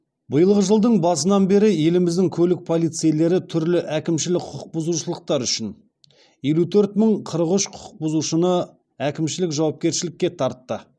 биылғы жылдың басынан бері еліміздің көлік полицейлері түрлі әкімшілік құқық бұзушылықтар үшін елу төрт мың қырық үш құқық бұзушыны әкімшілік жауапкершілікке тартты